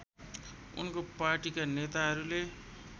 उनको पार्टीका नेताहरूले